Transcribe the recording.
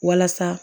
Walasa